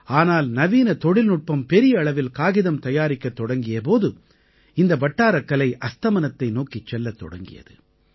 ஆனால் நவீன தொழில்நுட்பம் பெரிய அளவில் காகிதம் தயாரிக்கத் தொடங்கிய போது இந்த வட்டாரக் கலை அஸ்தமனத்தை நோக்கிச் செல்லத் தொடங்கியது